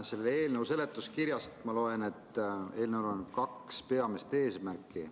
Selle eelnõu seletuskirjast ma loen, et eelnõul on kaks peamist eesmärki.